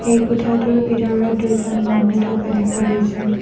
এই কোঠাটোৰ ভিতৰত দুজন মানুহ থকা দেখা গৈছে।